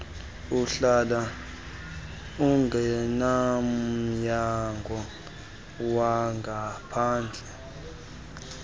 uhlala engumnyangwa wangaphandle